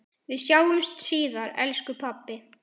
Við sjáumst síðar elsku pabbi.